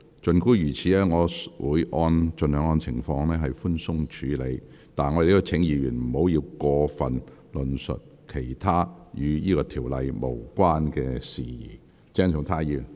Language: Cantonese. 儘管如此，我會按情況盡量寬鬆處理，但亦請議員不要過多論述與《條例草案》無關的其他事宜。